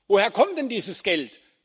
Woher kommt denn dieses Geld?